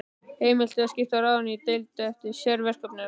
Heimilt er að skipta ráðinu í deildir eftir sérverkefnum.